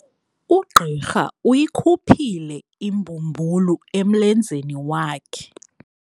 Ugqirha uyikhuphile imbumbulu emlenzeni wakhe.